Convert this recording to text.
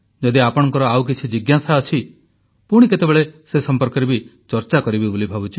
ଯଦି ଆପଣଙ୍କର ଆଉ କିଛି ଜିଜ୍ଞାସା ଅଛି ପୁଣି କେତେବେଳେ ସେ ସମ୍ପର୍କରେ ବି ଚର୍ଚ୍ଚା କରିବି ବୋଲି ଭାବୁଛି